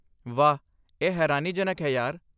ਵਾਹ! ਇਹ ਹੈਰਾਨੀਜਨਕ ਹੈ ਯਾਰ।